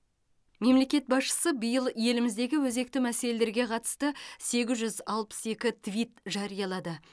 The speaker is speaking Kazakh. мемлекет басшысы биыл еліміздегі өзекті мәселелерге қатысты сегіз жүз алпыс екі твит жариялады